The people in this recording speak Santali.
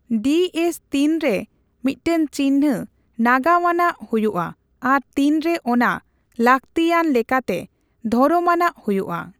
ᱰᱤ ᱮᱥ ᱛᱤᱱᱨᱮ ᱢᱤᱫᱴᱟᱝ ᱪᱤᱱᱦᱟᱹ ᱱᱟᱜᱟᱢᱟᱱᱟᱜ ᱦᱳᱭᱳᱜᱼᱟ ᱟᱨ ᱛᱤᱱᱨᱮ ᱚᱱᱟ ᱞᱟᱠᱛᱤᱭᱟᱱ ᱞᱮᱠᱟᱛᱮ ᱫᱷᱚᱨᱚᱢᱟᱱᱟᱜ ᱦᱳᱭᱳᱜᱼᱟ ?